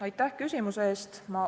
Aitäh küsimuse eest!